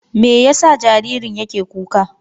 Me yasa jaririn yake kuka ne?